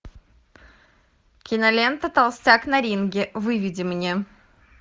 кинолента толстяк на ринге выведи мне